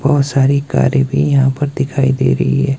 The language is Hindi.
बहुत सारी गाड़ी भी यहां पर दिखाई दे रही है।